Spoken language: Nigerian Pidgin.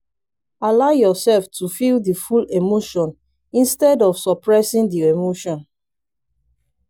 allow yourself to feel di full emotion instead of suppressing di emotion